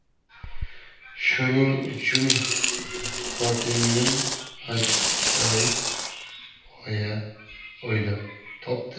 Shuning uchun xotinim ajoyib g‘oya o‘ylab topdi.